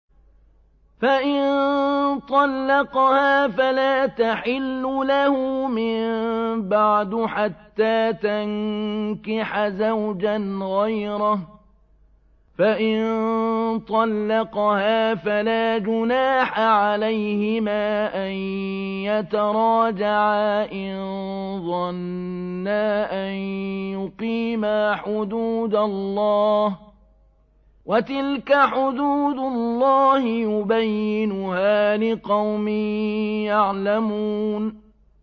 فَإِن طَلَّقَهَا فَلَا تَحِلُّ لَهُ مِن بَعْدُ حَتَّىٰ تَنكِحَ زَوْجًا غَيْرَهُ ۗ فَإِن طَلَّقَهَا فَلَا جُنَاحَ عَلَيْهِمَا أَن يَتَرَاجَعَا إِن ظَنَّا أَن يُقِيمَا حُدُودَ اللَّهِ ۗ وَتِلْكَ حُدُودُ اللَّهِ يُبَيِّنُهَا لِقَوْمٍ يَعْلَمُونَ